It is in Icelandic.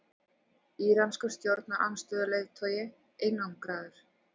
Íranskur stjórnarandstöðuleiðtogi einangraður